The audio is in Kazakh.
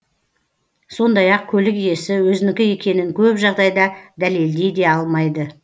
сондай ақ көлік иесі өзінікі екенін көп жағдайда дәлелдей де алмайды